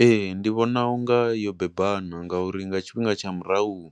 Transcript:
Ee, ndi vhona unga yo bebana nga uri nga tshifhinga tsha murahu,